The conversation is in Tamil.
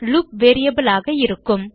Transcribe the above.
லூப் வேரியபிள் ஆக இருக்கும்